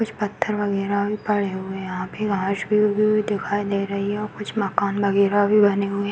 कुछ पत्थर वगैरह भी पड़े हुए हैं यहाँ पे। घास भी उगी हुई दिखाई दे रही है। कुछ माकन वगैरह भी बने हुए हैं।